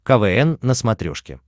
квн на смотрешке